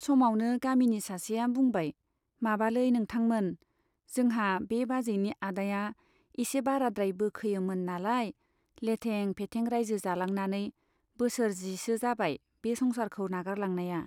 समावनो गामिनि सासेया बुंबाय, माबालै नोंथांमोन , जोंहा बे बाजैनि आदाया एसे बाराद्राय बोखोयोमोन नालाय , लेथें फेथें राइजो जालांनानै बोसोर जिसो जाबाय बे संसारखौ नागारलांनाया।